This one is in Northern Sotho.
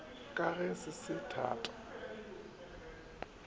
ka ge se se thata